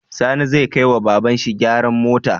Sani zai kai wa baban shi gyaran mota?